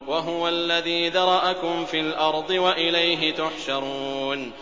وَهُوَ الَّذِي ذَرَأَكُمْ فِي الْأَرْضِ وَإِلَيْهِ تُحْشَرُونَ